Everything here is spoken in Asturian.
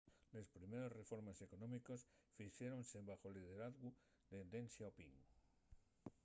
les primeres reformes económiques fixéronse baxo’l lideralgu de deng xiaoping